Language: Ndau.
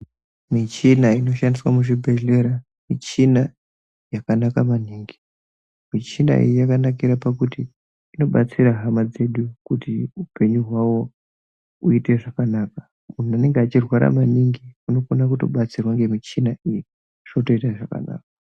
Michina inoshandiswa muzvibhedhlera, michina yakanaka maningi anonga achirwara maningi .Michina iyi yakanakira pakuti inobatsira hama dzedu pakuti upenyu hwavo huiye zvakanaka. Munhu anonga achirwara maningi anokona kutobatsirwa ngemichina iyi, zvotoita zvakanaka.